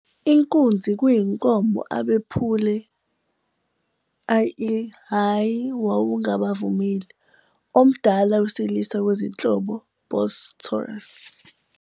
Inkunzi kuyinkomo abephule, ie, hhayi wawungabavumeli, omdala wesilisa kwezinhlobo "Bos taurus."